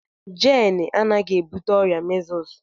Jane anaghị ebute ọrịa measles.